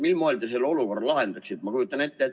Mil moel te selle olukorra lahendaksite?